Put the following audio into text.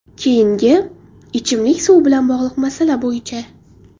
Keyingi, ichimlik suvi bilan bog‘liq masala bo‘yicha.